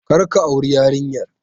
Kar ka auri yarinyar!